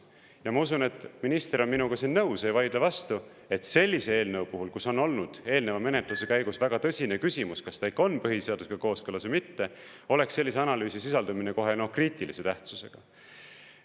Ja ma usun, et minister on minuga nõus, ei vaidle vastu, et sellise eelnõu puhul, kus on olnud eelneva menetluse käigus väga tõsine küsimus, kas ta ikka on põhiseadusega kooskõlas või mitte, oleks sellise analüüsi sisaldumine kohe kriitilise tähtsusega.